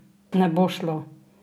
Ne bo šlo!